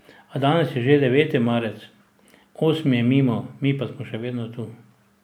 A danes je že deveti marec, osmi je mimo, mi pa smo še vedno tu.